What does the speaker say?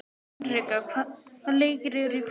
Hinrikka, hvaða leikir eru í kvöld?